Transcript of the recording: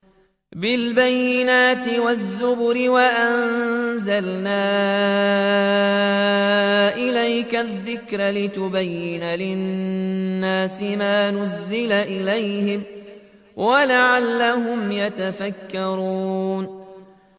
بِالْبَيِّنَاتِ وَالزُّبُرِ ۗ وَأَنزَلْنَا إِلَيْكَ الذِّكْرَ لِتُبَيِّنَ لِلنَّاسِ مَا نُزِّلَ إِلَيْهِمْ وَلَعَلَّهُمْ يَتَفَكَّرُونَ